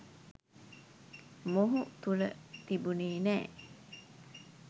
මොහු තුළ තිබුනේ නෑ